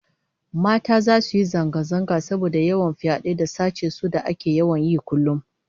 Mata zasu yi zanga-zanga saboda yawan fyade da sace su da ake yawan yi kullum